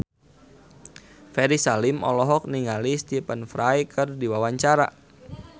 Ferry Salim olohok ningali Stephen Fry keur diwawancara